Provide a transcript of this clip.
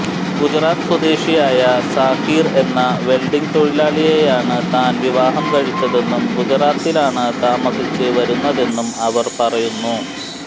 ഗുജറാത്ത് സ്വദേശിയായ സാക്കീർ എന്ന വെൽഡിങ്ങ് തൊഴിലാളിയെയാണ് താൻ വിവാഹം കഴിച്ചതെന്നും ഗുജറാത്തിലാണ് താമസിച്ച് വന്നിരുന്നതെന്നും അവർ പറയുന്നു